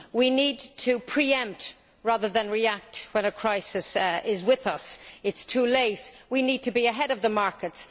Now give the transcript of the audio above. We need to pre empt rather than react when a crisis is with us, it is too late. We need to be ahead of the markets